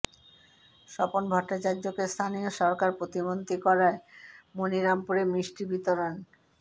স্বপন ভট্টাচার্য্যকে স্থানীয় সরকার প্রতিমন্ত্রী করায় মণিরামপুরে মিষ্টি বিতরণ